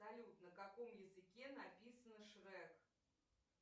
салют на каком языке написано шрек